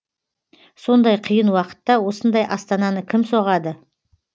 сондай қиын уақытта осындай астананы кім соғады